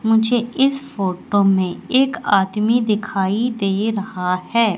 मुझे इस फोटो में एक आदमी दिखाई दे रहा है।